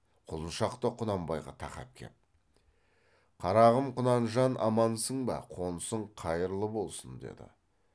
құлыншақ та құнанбайға тақап кеп қарағым құнанжан амансың ба қонысың қайырлы болсын деді